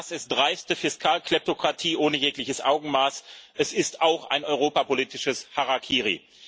Das ist dreiste Fiskalkleptokratie ohne jegliches Augenmaß, es ist auch ein europapolitisches Harakiri.